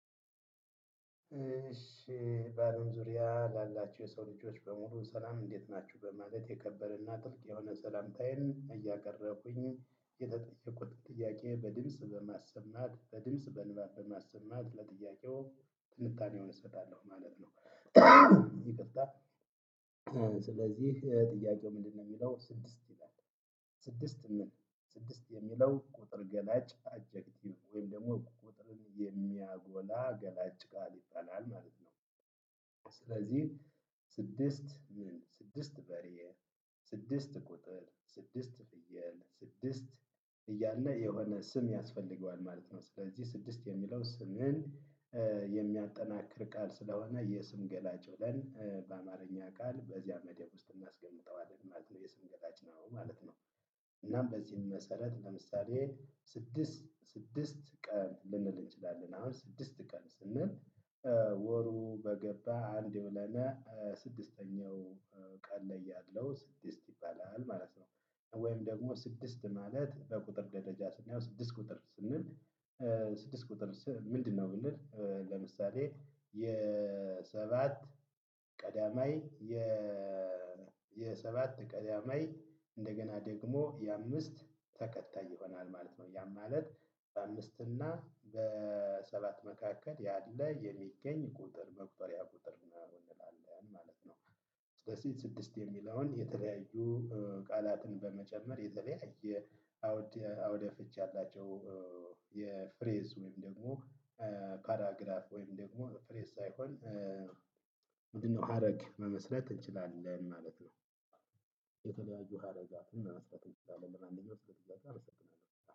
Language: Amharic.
እሺ በአለም ዙሪያ ላላችሁ የሰው ልጆች በሙሉ ሰላም እንዴት ናችሁ በማለት የከበረና ጥልቅ የሆነ ስላምታዬን እያቀረብኩኝ የተጠየቅኩት ጥያቄ በድምጽ በማሰማት በድምጽ በንባብ በማሰማት ለጥያቄው ትንታኔውን እሰጣለው ማለት ነው። ይቅርታ። ስለዚህ ጥያቄው ምንድነው የሚለው ስድስት ይላል። ስድስት ምን ስድስት የሚለው ቁጥር ገላጭ አጀክቲቭ ወይም ደግሞ ቁጥርን የሚያጎላ ገላጭ ቃል ይባላል ማለት ነው። ስለዚህ ስድስት ወይም ስድስት በሬ። ስድስት ቁጥር ስድስት ፍየል ስድስት እያለ የሆነ ስም ያስፈልጋል ማለት ነው። ስለዚህ ስድስት የምለው ስምን የሚያጠናክር ቃል ስለሆነ የስም ገላጭ ብለን በአማረኛ ቃል በዚያ መደብ ውስጥ እናስቀምጠዋለን ማለት ነው የስም ገላጭ ነው ማለት ነው። እናም በዚህም መሰረት ለምሳሌ ስድስት ስድስት ቀን ልንል እንችላለን አሁን ስድስት ቀን ስንል። ወሩ በገባ አንድ የሆነና ስድስተኛው ቀን ላይ ያለው ስድስት ይባላል ማለት ነው። ወይም ደግሞ ስድስት ማለት በቁጥር ደረጃ ስናየው ስድስት ቁጥር ስንል ስድስት ቁጥር ምንድነው? ብንል ለምሳሌ የሰባት ቀዳማይ የሰባት ቀዳማይ እንደገና ደግሞ የአምስት ተከታይ ይሆናል ማለት ነው። ያም ማለት በአምስት እና በሰባት መካከል ያለ የሚገኝ ቁጥር መቁጠሪያ ቁጥር ነው እንላለን ማለት ነው። ስለዚህ ስድስት የሚለውን የተለያዩ ቃላትን በመጨመር የተለያየ አውድ አውደ ፍች ያላቸው የፍሬዝ ወይም ደግሞ ካራግራፍ ወይም ደግሞ ፍሬዝ ሳይሆን ምንድነው ሀረግ መመስረት እንችላለን ማለት ነው። የተለያዩ ሀረጋትን መመስረት እንችላለን ለማነኛው ስለጥያቄው አመሰግናለሁ